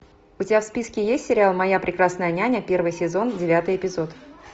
у тебя в списке есть сериал моя прекрасная няня первый сезон девятый эпизод